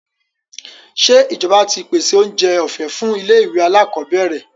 Ṣé ìjọba ti pèsèoúnjẹ ọ̀fẹ́ fún ilé-ìwé alákọọ́bẹ̀rẹ̀?